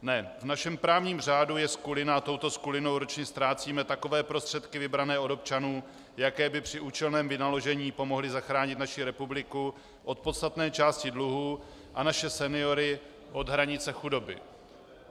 Ne, v našem právním řádu je skulina a touto skulinou ročně ztrácíme takové prostředky vybrané od občanů, jaké by při účelném vynaložení pomohly zachránit naši republiku od podstatné části dluhů a naše seniory od hranice chudoby.